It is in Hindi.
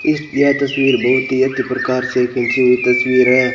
इस यह तस्वीर बहुत ही अति प्रकार से खींची हुई तस्वीर है।